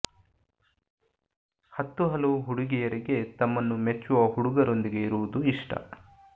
ಹತ್ತು ಹಲವು ಹುಡುಗಿಯರಿಗೆ ತಮ್ಮನ್ನು ಮೆಚ್ಚುವ ಹುಡುಗರೊಂದಿಗೆ ಇರುವುದು ಇಷ್ಟ